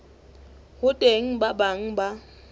ho teng ba bang ba